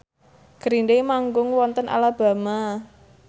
Green Day manggung wonten Alabama